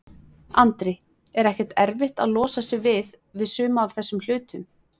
Andri: Er ekkert erfitt að losa sig við, við suma af þessum hlutum?